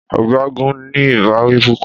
Ọ̀gágun ní ìbáwí púpọ̀.